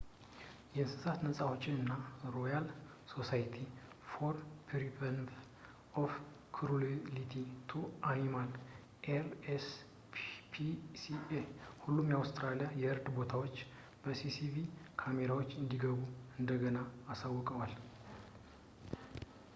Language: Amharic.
የእንስሳት ነፃ አውጭ እና ሮያል ሶሳይቲ ፎር ፕሪቨንሽን ኦፍ ክሩሊቲ ቱ አኒማልስ አር.ኤስ.ፒ.ሲ.ኤ በሁሉም የአውስትራሊያ የእርድ ቦታዎች የሲሲቲቪ ካሜራዎች እንዲገቡ እንደገና አሳውቀዋል